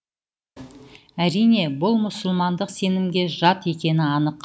әрине бұл мұсылмандық сенімге жат екені анық